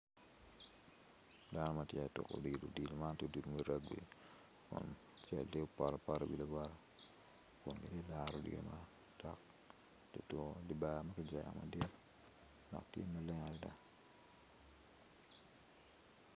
Dano ma tye ka tuko odilo kun mito potoapota i wi lawote kun gitye ka laro odilo man i dye barne tye maleng adada.